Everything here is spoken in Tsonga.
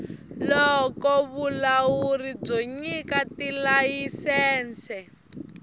loko vulawuri byo nyika tilayisense